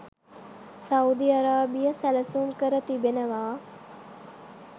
Saudi Arabia සැලසුම් කර තිබෙනවා.